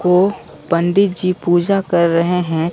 को पंडित जी पूजा कर रहे हैं।